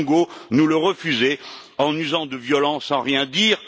Bongo nous le refuser en usant de violence sans rien dire?